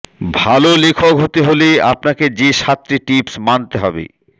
ভাল লেখক হতে হলে আপনাকে যে সাতটি টিপস মানতে হবে